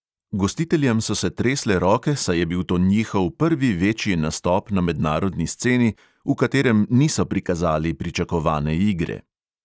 Gostiteljem so se tresle roke, saj je bil to njihov prvi večji nastop na mednarodni sceni, v katerem niso prikazali pričakovane igre.